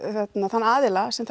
þann aðila sem